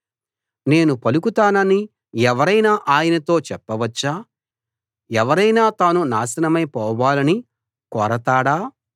నేను పలుకుతానని ఎవరైనా ఆయనతో చెప్పవచ్చా ఎవరైనా తాను నాశనమై పోవాలని కోరతాడా